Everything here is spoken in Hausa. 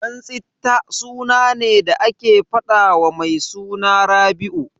Dansitta suna ne da ake faɗawa mai suna Rabi'u.